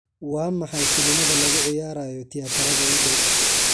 waa maxay filimada lagu ciyaarayo tiyaatarada ii dhow